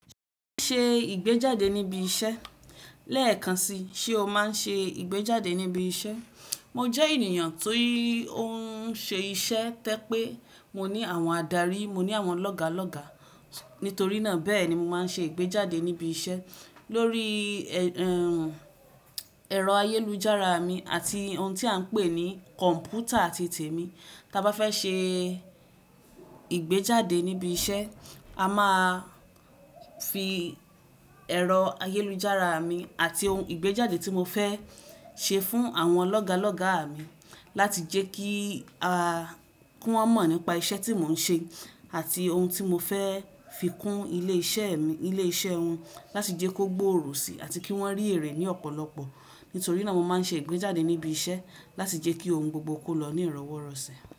Ṣé o máa ń ṣe ìgbéjáde níbi iṣẹ́? Lẹ́ẹ̀kan si, ṣe o máa ń ṣe ìgbéjáde níbi iṣẹ́? Mo jẹ́ ènìyàn tó ń ṣe iṣẹ́, tẹ́ pé mo ní àwọn adarí, mo ní àwọn lọ́gálọ́gá. Nítorí náà bẹ́ẹ̀ ni mo máa ń ṣe ìgbéjáde níbi iṣẹ́ lórí ẹ̀rọ ayélujára mi àti ohun tí à ń pè ní kọ̀m̀pútà ti tèmi. Tí a bá fẹ́ ṣe ìgbéjáde níbi iṣẹ́, a máa fi ẹ̀rọ ayélujára mi àti ohun ìgbéjáde tí mo fẹ́ ṣe fún àwọn lọ́gálọ́gá mi láti jẹ́ kí wọ́n mọ̀ nípa iṣẹ́ tí mò ń ṣe àti ohun tí mo fẹ́ fi kún ilé iṣẹ́ mi, ilé iṣẹ́ wọn láti jẹ́ kó gboòrò si àti kí wọ́n rí èrè ní ọ̀pọ̀lọpọ̀. Nítorí náà mo máa ń ṣe ìgbéjáde níbi iṣẹ́ láti jẹ́ kí ohun gbogbo kó lọ ní ìrọ́wọ́rọ̀sẹ̀.